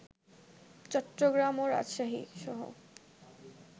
চট্টগ্রাম ও রাজশাহীসহ